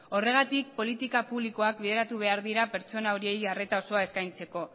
horregatik politika publikoak bideratu behar dira pertsona horiei arreta osoa eskaintzeko